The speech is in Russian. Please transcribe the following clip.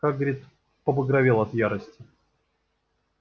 хагрид побагровел от ярости